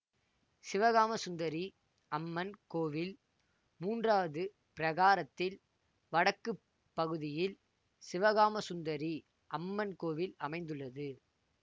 சிவகாமசுந்தரி அம்மன் கோவில் மூன்றாவது பிரகாரத்தில் வடக்கு பகுதியில் சிவகாமசுந்ததரி அம்மன் கோவில் அமைந்துள்ளது